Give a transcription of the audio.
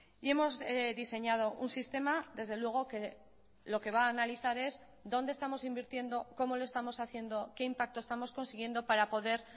y hemos diseñado un sistema desde luego que lo que va a analizar es dónde estamos invirtiendo cómo lo estamos haciendo qué impacto estamos consiguiendo para poder